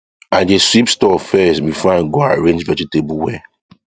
i dey sweep stall first before i go arrange vegetable well